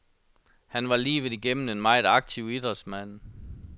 Han var livet igennem en meget aktiv idrætsmand.